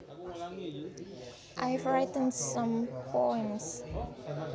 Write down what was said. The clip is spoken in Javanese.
I have written some poems